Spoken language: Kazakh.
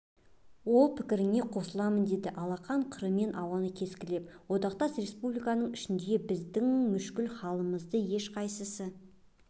ол пікіріңе қосылмаймын деді алақан қырымен ауаны кескілеп одақтас республикалардың ішінде біздің мүшкіл халімізді ешқайсысы